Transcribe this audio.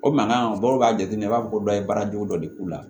O mankan bɔ k'a jate minɛ i b'a fɔ ko dɔ ye baara jugu dɔ de k'u la